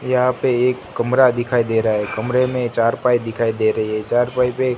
यहां पे एक कमरा दिखाई दे रहा है कमरे में चारपाई दिखाई दे रही हैं चारपाई पे--